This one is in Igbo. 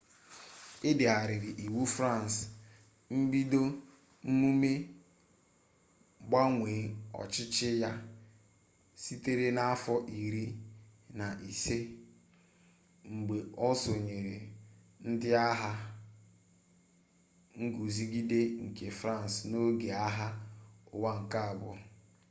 e degharịrị iwu fransị mbido mmume mgbanwe ọchịchị ya sitere n'afọ iri na ise mgbe o sonyere ndị agha nguzogide nke fransị n'oge agha ụwa nke abụọ